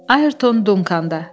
Ayerton Dunkanda.